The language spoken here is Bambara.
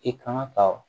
I kan ka